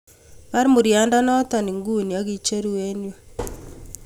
Bar muryaandanoto nguuni akicheru em yuu